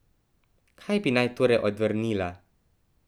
Kaj bi naj torej odvrnila?